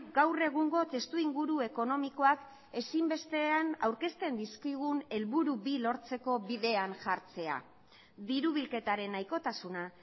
gaur egungo testuinguru ekonomikoak ezinbestean aurkezten dizkigun helburu bi lortzeko bidean jartzea diru bilketaren nahikotasuna